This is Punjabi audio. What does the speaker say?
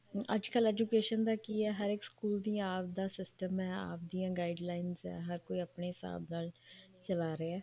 ਅੱਜਕਲ ਏ education ਦਾ ਕੀ ਹੈ ਹਰ ਇੱਕ ਸਕੂਲ ਦਾ ਆਵਦਾ system ਹੈ ਆਪਦੀਆਂ guidelines ਆ ਹਰ ਕੋਈ ਆਪਣੇ ਹਿਸਾਬ ਨਾਲ ਚਲਾ ਰਿਹਾ